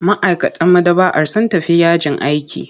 Ma'aikatan maɗaba'ar sun tafi yajin aiki.